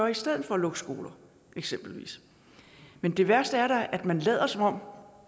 i stedet for at lukke skoler eksempelvis men det værste er da at man lader som om